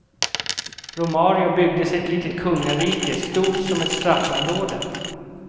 Romario byggde sig ett litet kungarike, stort som ett straffområde.